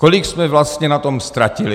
Kolik jsme vlastně na tom ztratili.